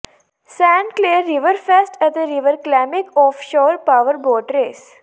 Saint Clair Riverfest ਅਤੇ river ਕਲਾਮਿਕ offshore powerboat race